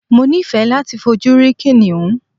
Mo ni fẹ́ láti fojú rí kìnìún.